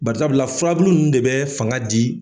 Barisabula furabulu nunnu de bɛ fanga di.